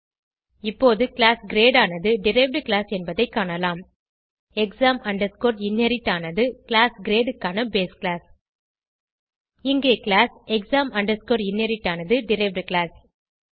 இப்போது class great ஆனது derived class என்பதை காணலாம் exam inherit ஆனது கிளாஸ் கிரேட் க்கான பேஸ் கிளாஸ் இங்கே கிளாஸ் exam inherit ஆனது டெரைவ்ட் கிளாஸ்